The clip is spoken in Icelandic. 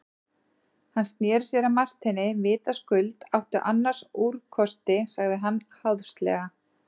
Hann sneri sér að Marteini:-Vitaskuld áttu annars úrkosti, sagði hann háðslega.